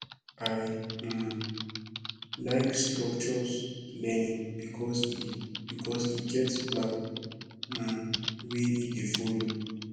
i um like structures learning because e because e get plan um wey e dey folo